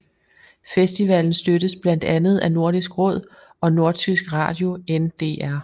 Festivalen støttes blandt andet af Nordisk Råd og nordtysk radio NDR